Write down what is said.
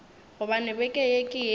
gobane beke ye ke yela